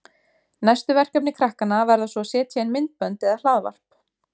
Næstu verkefni krakkanna verða svo að setja inn myndbönd eða hlaðvarp.